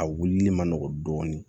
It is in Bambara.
A wulili ma nɔgɔn dɔɔnin